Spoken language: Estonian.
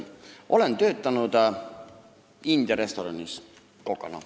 Olen töötanud India restoranis kokana.